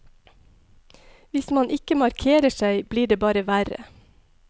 Hvis man ikke markerer seg, blir det bare verre.